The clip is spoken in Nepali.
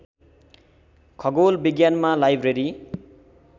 खगोल विज्ञानमा लाइब्रेरी